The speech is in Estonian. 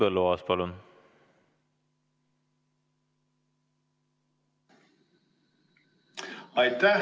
Henn Põlluaas, palun!